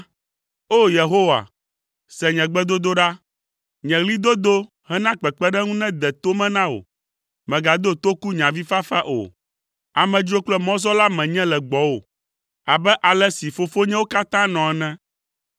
“O! Yehowa, se nye gbedodoɖa, nye ɣlidodo hena kpekpeɖeŋu nede to me na wò; mègado toku nye avifafa o. Amedzro kple mɔzɔla menye le gbɔwò abe ale si fofonyewo katã nɔ ene.